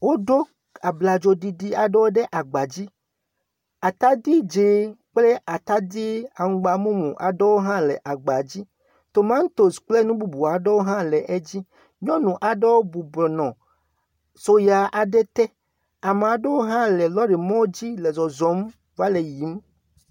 Woɖo abladzo ɖiɖia aɖewo ɖe le agba dzi. Atadi dz0 kple atidi amgbamumu aɖewo hã le agba dzi. Tomantos kple nububuwo aɖe hã le edzi. Nyɔnu aɖewo bubɔnɔ soya aɖe te. Ame aɖewo hã le lorri mɔ dzile zɔzɔm va le yiyim